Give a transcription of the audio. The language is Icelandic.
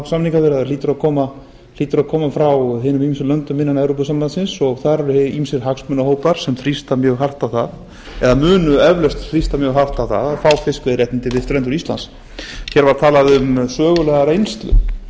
samningaviðræður hlýtur að koma frá hinum ýmsu löndum innan evrópusambandsins og þar eru ýmsir hagsmunahópar sem þrýsta mjög hart á það eða munu eflaust þrýsta mjög hart á það að fá fiskveiðiréttindi við strendur íslands hér var talað um sögulega reynslu það